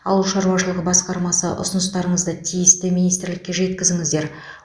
ауыл шаруашылығы басқармасы ұсыныстарыңызды тиісті министрлікке жеткізіңіздер